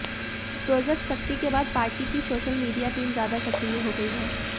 project Shakti के बाद party की सोशल मीडिया टीम ज्यादा सक्रिय हो गई है